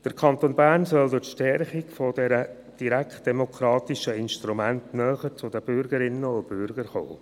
Der Kanton Bern soll durch die Stärkung der direktdemokratischen Instrumente näher zu den Bürgerinnen und Bürgern kommen.